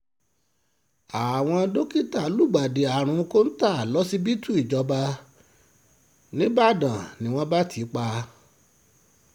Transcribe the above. àwọn dókítà lùgbàdì àrùn kọ́ńtà lọ́sibítù ìjọba nígbàdàn ni wọ́n bá tì í pa